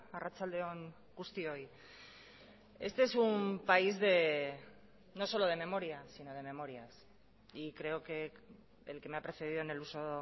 arratsalde on guztioi este es un país no solo de memoria sino de memorias y creo que el que me ha precedido en el uso